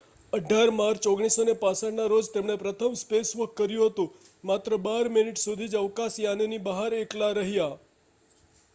"18 March 1965ના રોજ તેમણે પ્રથમ "સ્પેસવોક" કર્યું હતું. માત્ર બાર મિનિટ સુધી જ અવકાશયાનની બહાર એકલા રહ્યા.